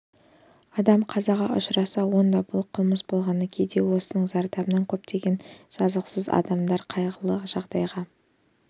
адам қазаға ұшыраса онда бұл қылмыс болғаны кейде осының зардабынан көптеген жазықсыз адамдар қайғылы жағдайға